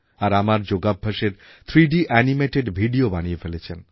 আর আমার যোগাভ্যাসের three D animated video বানিয়ে ফেলেছেন